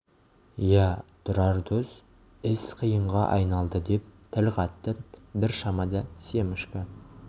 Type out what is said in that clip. иә тұрар дос іс қиынға айналды деп тіл қатты бір шамада семашко